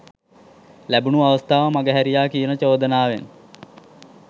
ලැබුනු අවස්ථාව මඟ හැරියා කියන චෝදනාවෙන්